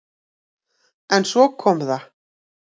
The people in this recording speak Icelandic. En svo kom það!